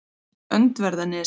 Öndverðarnesi